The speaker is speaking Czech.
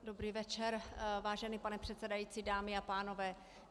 Dobrý večer, vážený pane předsedající, dámy a pánové.